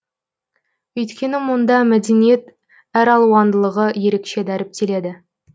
өйткені мұнда мәдениет әралуындылығы ерекше дәріптеледі